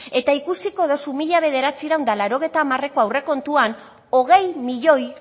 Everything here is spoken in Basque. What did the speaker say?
eta ikusiko dugu mila bederatziehun eta laurogeita hamareko aurrekontuan hogei milioi